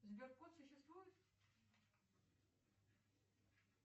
сберкот существует